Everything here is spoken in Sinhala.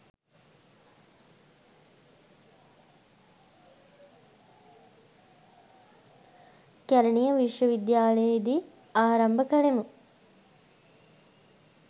කැලණිය විශ්වවිද්‍යාලයෙහි දී ආරම්භ කළෙමු